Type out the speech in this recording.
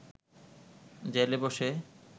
জেলে বসে